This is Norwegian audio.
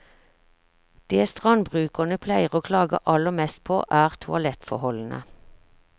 Det strandbrukerne pleier å klage aller mest på, er toalettforholdene.